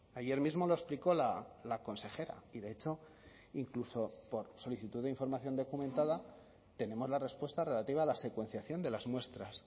ayer mismo lo explicó la consejera y de hecho incluso por solicitud de información documentada tenemos la respuesta relativa a la secuenciación de las muestras